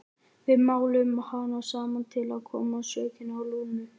Við máluðum hana saman til að koma sökinni á Lúnu.